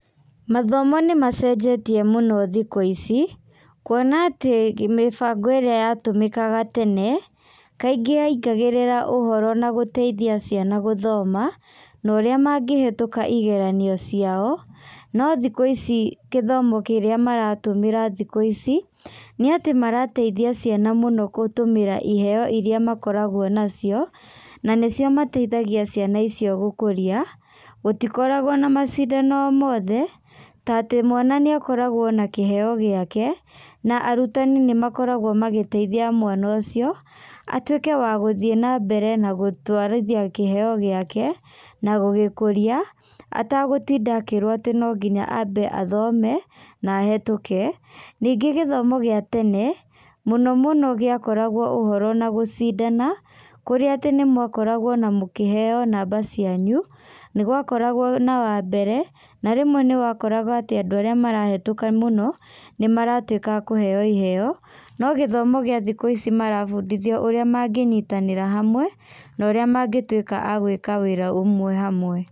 Mathomo nĩmacenjetie mũno thikũ ici, kuona atĩ, mĩbango ĩrĩa ĩratũmĩka tene, kaingĩ ya ingagĩrĩra ũhoro gũteithia ciana na gũthoma, na ũrĩa mangĩhetũka igeranio ciao, no thiku ici gĩthomo kĩrĩa maratũmĩra thiku ici, nĩ atĩ marateithia ciana mũno gũtũmĩra iheyo irĩa makoragwo na cio, na nĩcio mateithagia ciana icio gũkũria, gũtikoragwo na macindano o mothe, ta atĩ mwana nĩakoragwo o na kĩheyo gĩake, na arutani nĩmakoragwo magĩteithia mwana ũcio atuĩke wa gũthiĩ na mbere na gũtũarithia kĩheyo gĩake, na gũgĩkũrĩa, atagũtinda akĩrwo atĩ no nginya ambe athome na ahetũke, ningĩ gĩthomo gĩa tene mũno mũno gĩakoragwo o ũhoro na gũcindana, kũrĩa atĩ nĩmwakoragwo o na mũkĩheyo namba cianyu, nĩgwakoragwo na wambere na rĩmwe nĩwakoraga andũ arĩa marahetũka mũno, nĩmatuĩka akũheyo ĩheyo, no gĩthomo gĩa thikũ ici marabundithio ũrĩa mangĩnyitanĩra hamwe, na ũrĩa mangĩtuĩka agwĩka wĩra ũmwe hamwe.